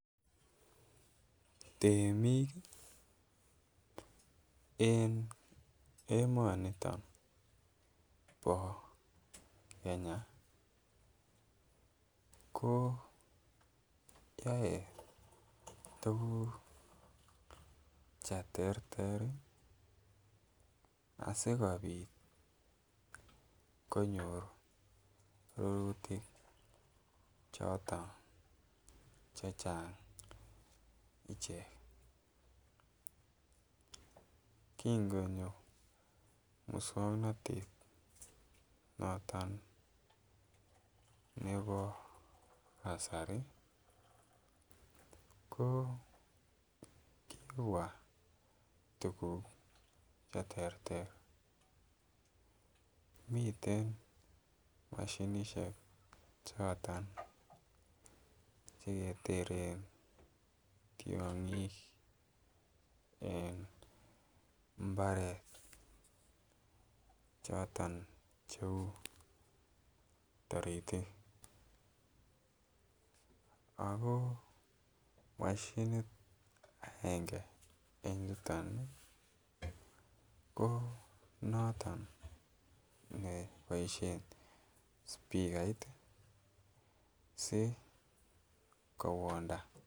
Temik en emoniton bo Kenya ko you tuguk che tester asikopit konyor rurutik choton checking ichek. Kin Konyo muswongnotet noton nebo kasari ko kibwaa tuguk che terter miten moshinishek choton che keteren tyogik en mbaret choton che uu toritik who moshint aenge en yuton ko noton nebo boishen spekait si kowonda